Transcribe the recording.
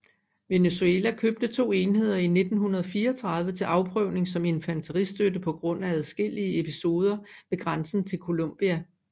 Venezuela købte to enheder i 1934 til afprøvning som infanteristøtte på grund af adskillige episoder ved grænsen til Colombia